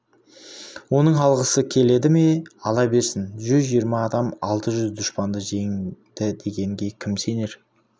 оның алғысы келеді ме ала берсін жүз жиырма адам алты жүз дұшпанды жеңді дегенге кім сенер